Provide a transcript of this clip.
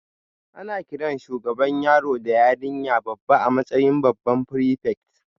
Ana kiran shugaban yaro da yarinya babba a matsayin babban prefect